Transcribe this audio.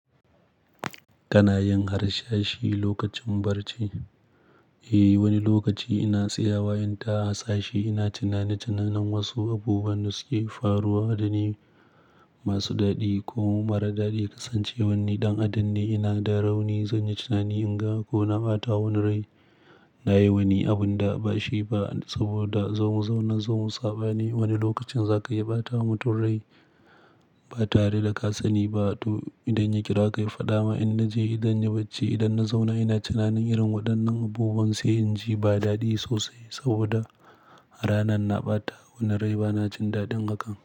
Kana yin harsashi lokacin barci? Eh, wani lokaci ina tsayawa inta harsashi. Ina tunanin tunanin wasu abubuwan da suke faruwa, dani masu daɗi ko mara daɗi. Kasancewar ni ɗan adam nai, ina da rauni zanyi tunani in ga ko na ɓata wani rai. Na yi wani abin da ba shi ba saboda zo mu zauna, zo mu saɓa ne. Wani lokacin za ka iya ɓata wa mutum rai ba tare da ka sani ba. To idan ya kira ka ya faɗa maka, in naje idan ya bace idan na zauna ina tunanin irin waɗannan abubuwan, sai in ji ba daɗi sosai saboda a ranar na ɓata wani rai bana jin daɗin haka.